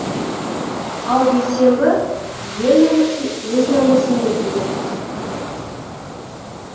ал бейсенбі ел намысын өз намысым деп біледі